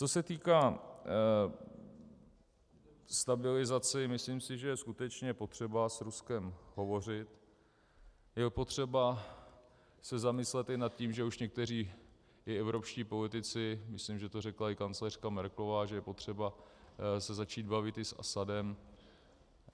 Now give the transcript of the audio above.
Co se týká stabilizace, myslím si, že je skutečně potřeba s Ruskem hovořit, je potřeba se zamyslet i nad tím, že už někteří i evropští politici, myslím, že to řekla i kancléřka Merkelová, že je potřeba se začít bavit i s Asadem.